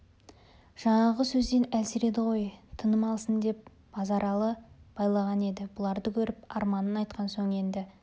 жаңағы сөзден әлсіреді ғой тыным алсын деп базаралы байлаған еді бұларды көріп арманын айтқан соң енді